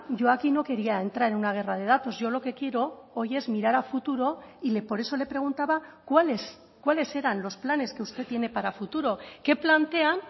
yo aquí no quería entrar en una guerra de datos yo lo que quiero hoy es mirar a futuro y por eso le preguntaba cuáles cuáles eran los planes que usted tiene para futuro qué plantean